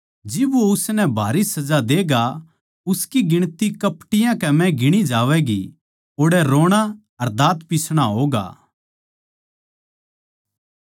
जिब वो उसनै भारी सजा देगा उसकी गिणती कपटियाँ कै म्ह गिणी जावैगी ओड़ै रोणा अर दाँत पिसणा होगा